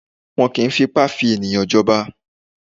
Wọn kì í fipá fi ènìyàn jọba.